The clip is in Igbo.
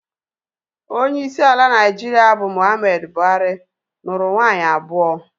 Onyeisi ala Naịjirịa bụ Muhammadu Buhari, nụrụ nwaanyị abụọ